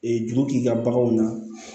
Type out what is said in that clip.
Ee juru k'i ka baganw na